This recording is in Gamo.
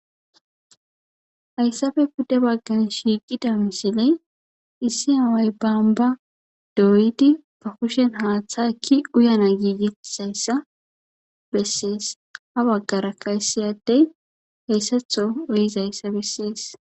hayssabe budde baggan shiiqida misiley issi haway baanba dooyidi ba kushen haaththa ekki uyana giigiisayssa bessees ha waggarakkayssiyaddey heyssatho wuizayssa bessees